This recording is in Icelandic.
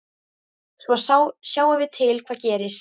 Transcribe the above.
Svo sjáum við til hvað gerist.